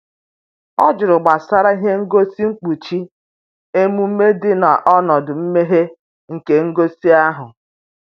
ọ jụrụ gbasara ihe ngosi nkpuchi emume dị n'ọnọdụ mmeghe nke ngosi ahụ